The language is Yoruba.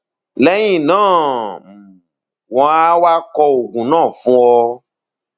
lẹyìn náà um wọn á wá kọ oògùn náà fún ọ